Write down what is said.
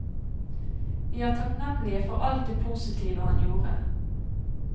Vi er takknemlige for alt det positive han gjorde.